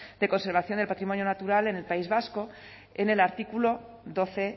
de conservación del patrimonio natural en el país vasco en el artículo doce